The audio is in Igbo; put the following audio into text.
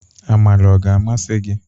Amala ọ ga-amasị gị?